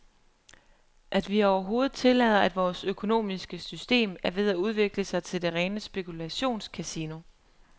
At vi overhovedet tillader, at vores økonomiske system er ved at udvikle sig til det rene spekulationscasino.